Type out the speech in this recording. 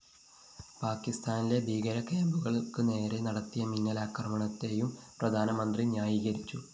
പാക്കിസ്ഥാനിലെ ഭീകര ക്യാമ്പുകള്‍ക്കു നേരെ നടത്തിയ മിന്നലാക്രമണത്തെയും പ്രധാനമന്ത്രി ന്യായീകരിച്ചു